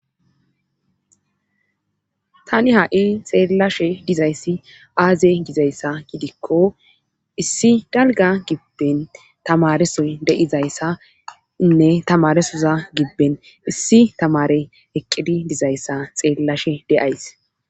tani ha7i xeellashe dizayssi aaze gizayssa gidikko issi dalga gibben tamaresoy de7izayssainne tamaresoza gibben issi tamare eqqidi dizayssa xeellashe de7ays